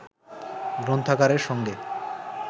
গ্রন্থাগারের সঙ্গে